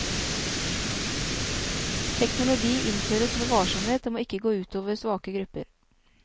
Teknologi innføres med varsomhet og må ikke gå ut over svake grupper.